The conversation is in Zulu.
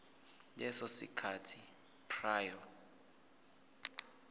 leso sikhathi prior